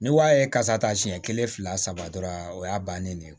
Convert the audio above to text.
Ni wa ye kasa ta siɲɛ kelen fila saba dɔrɔn o y'a bannen ne ye